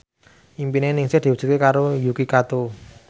impine Ningsih diwujudke karo Yuki Kato